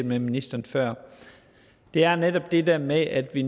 det med ministeren før er netop det der med at vi